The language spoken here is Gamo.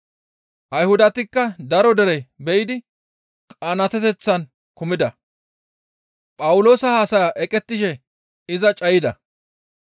Ayhudatikka daro dere be7idi qanaateteththan kumida; Phawuloosa haasaya eqettishe iza cayida.